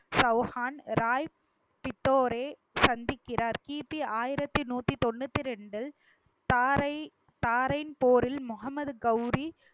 சௌஹான் ராய் பித்தோரே சந்திக்கிறார் கி. பி ஆயிரத்தி நூத்தி தொண்ணூத்தி இரண்டில் தாரை~ தாரையின் போரில் முகமது கௌரி